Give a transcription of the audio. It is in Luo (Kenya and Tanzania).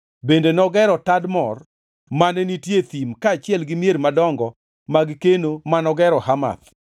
Bende nogero Tadmor mane nitie e thim kaachiel gi mier madongo mag keno manogero Hamath.